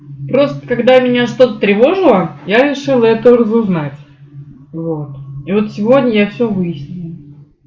просто когда меня что-то тревожило я решил эту разузнать вот и вот сегодня я всё выясню